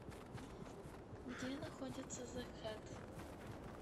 где находится зэ хэт